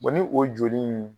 ni o joli in